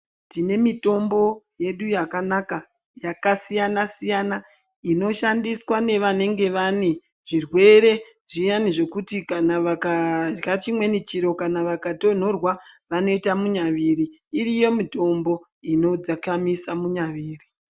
Tine mitombo yedu yakanaka yakasiyana siyana inoshandiswa nevanenge vane zvirwere zviyani zvekuti kana vakarya chimweni chiro kana vakatonhorwa vanoita munyaviri iriko mitombo inodzikamisa munyaviri.